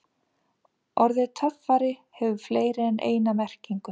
Orðið töffari hefur fleiri en eina merkingu.